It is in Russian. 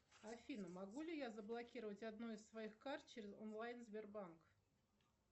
афина могу ли я заблокировать одну из своих карт через онлайн сбербанк